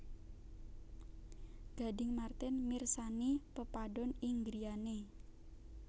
Gading Marten mirsani pepadon ing griyane